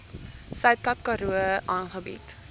suidkaap karoo aangebied